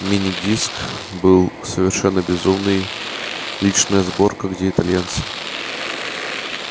мини-диск был совершенно безумный личная сборка где итальянцы